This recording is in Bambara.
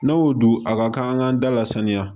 N'o dun a ka kan da la saniya